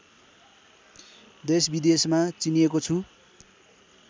देशविदेशमा चिनिएको छु